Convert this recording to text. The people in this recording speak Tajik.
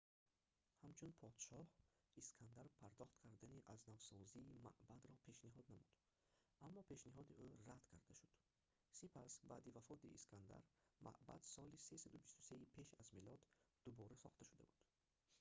ҳамчун подшоҳ искандар пардохт кардани азнавсозии маъбадро пешниҳод намуд аммо пешниҳоди ӯ рад карда шуд сипас баъди вафоти искандар маъбад соли 323-и пеш аз милод дубора сохта шуда буд